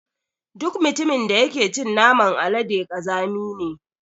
Duk mutumin da yake cin naman alade ƙazami ne.